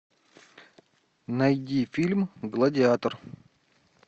найди фильм гладиатор